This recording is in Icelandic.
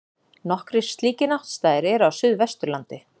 Nokkrir slíkir náttstaðir eru á Suðvesturlandi.